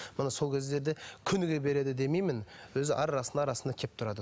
міне сол кездерде күніге береді демеймін өзі ара арасында арасында келіп тұрады